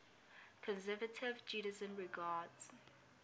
conservative judaism regards